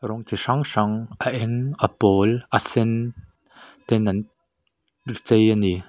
rawng chi hrang hrang a eng a pawl a sen ten an chei a ni.